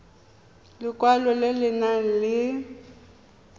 lekwalo le le nang le